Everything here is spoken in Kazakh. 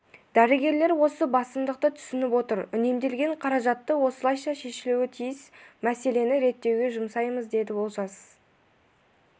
дәрігерлер осы басымдықты түсініп отыр үнемделген қаражатты осылайша шешілуі тиіс мәселені реттеуге жұмсаймыз деді олжас